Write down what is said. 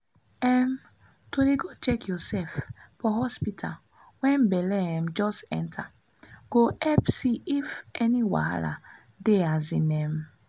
um to dey go check yoursef for hospital wen belle um just enta go epp see if any wahala dey asin emm